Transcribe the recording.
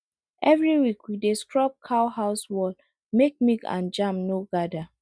every week we dey scrub cow house wall make milk and germ no gather